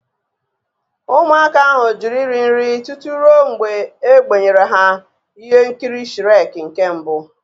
Ụmụaka ahụ jụrụ iri nri tutu ruo mgbe a gbenyere ha ihe nkiri Shrek nke mbụ.